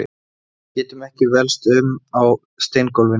Getum ekki velst um á steingólfinu.